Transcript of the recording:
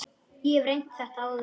Ég hef reynt þetta áður.